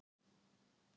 Totti verður í hópnum.